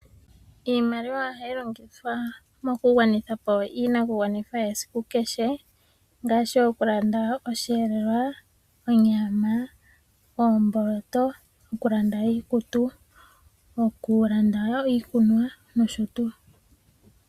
Iimaliwa ohayi longithwa mokugwanitha po iinakugwanithwa yesiku kehe ngaashi okulanda osheelelwa, onyama, oomboloto, okulanda iikutu, okulanda wo iikunwa nosho tuu.